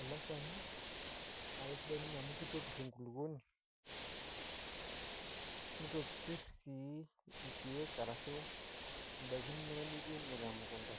ele shani naa sidai ninye amu kitopirr enkulukwoni nitopirr sii irkiek arashu indaiki inonok nituuno temukunta